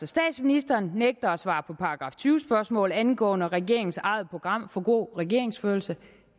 statsministeren nægter at svare på § tyve spørgsmål angående regeringens eget program for god regeringsførelse